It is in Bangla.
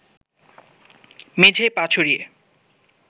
মেঝেয় পা ছড়িয়ে